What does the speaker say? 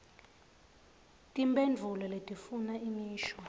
timphendvulo letifuna imisho